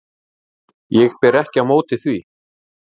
Ég ber ekki á móti því.